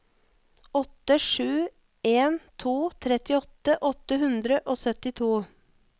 åtte sju en to trettiåtte åtte hundre og syttito